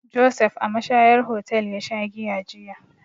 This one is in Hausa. Josef a mashayar hotel ya sha giya jiya.